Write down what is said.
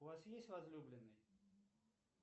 у вас есть возлюбленный